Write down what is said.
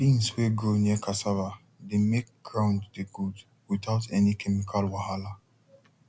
beans wey grow near cassava dey make ground dey good without any chemical wahala